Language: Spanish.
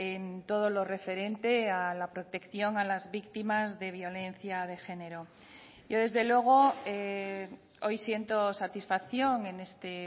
en todo lo referente a la protección a las víctimas de violencia de género yo desde luego hoy siento satisfacción en este